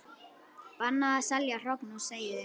Bannað að selja hrogn og seiði